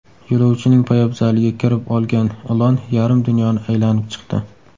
Yo‘lovchining poyabzaliga kirib olgan ilon yarim dunyoni aylanib chiqdi.